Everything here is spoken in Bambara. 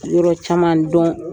Yɔrɔ caman don